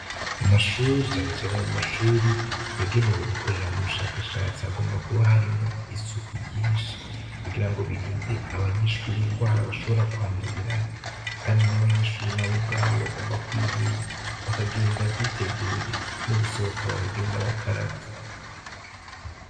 Mu mashuri canecane mu mashuri yagenewe gukorera mu bushakashatsi hagomba kuba harimwo isuku ryinshi kugira ngo birinde abanyishuri ingwara bashobora kwandurirayo, kandi n'abanyishuri na bo ubwabo bagomba kwirinda bakagenda biteguye no gusohoka bakagenda abakaravyi.